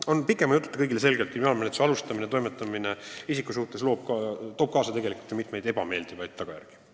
On pikema jututa selge, et kriminaalmenetluse alustamine toob isikutele kaasa ebameeldivaid tagajärgi.